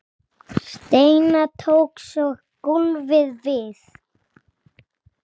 Seinna tók svo golfið við.